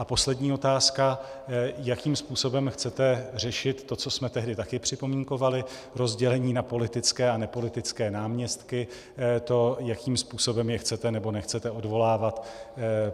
A poslední otázka: Jakým způsobem chcete řešit to, co jsme tehdy také připomínkovali, rozdělení na politické a nepolitické náměstky, to, jakým způsobem je chcete nebo nechcete odvolávat?